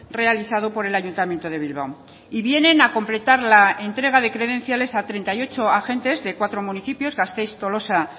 realizado por el ayuntamiento de bilbao y vienen a completar la entrega de credenciales a treinta y ocho agentes de cuatro municipios gasteiz tolosa